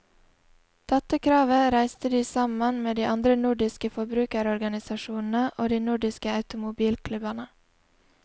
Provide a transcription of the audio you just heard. Dette kravet reiste de sammen med de andre nordiske forbrukerorganisasjonene og de nordiske automobilklubbene.